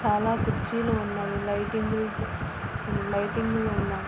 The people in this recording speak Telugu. చాలా కుర్చీలు ఉన్నవి. లైటింగ్ లు లైటింగ్ లున్నాయి.